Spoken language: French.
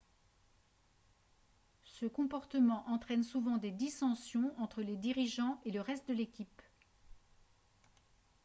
ce comportement entraîne souvent des dissensions entre les dirigeants et le reste de l'équipe